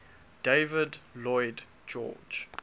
david lloyd george